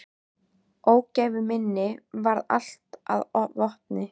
Ógæfu minni varð allt að vopni.